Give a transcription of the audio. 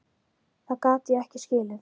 Það gat ég ekki skilið.